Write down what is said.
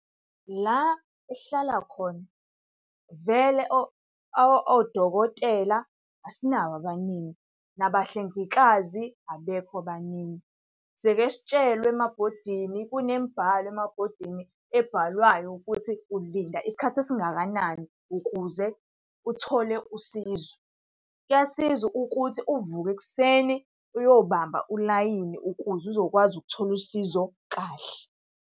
La esihlala khona vele odokotela asinabo abaningi, nabahlengikazi abekho abaningi. Siyeke sitshelwe emabhodini, kunemibhalo emabhodini ebhalwayo ukuthi ulinda isikhathi esingakanani ukuze uthole usizo. Kuyasiza ukuthi uvuke ekuseni uyobamba ulayini ukuze uzokwazi ukuthola usizo kahle.